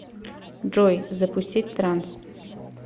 джой запустить транс